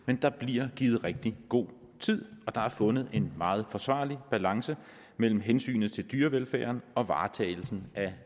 men der bliver givet rigtig god tid og der er fundet en meget forsvarlig balance mellem hensynet til dyrevelfærden og varetagelsen af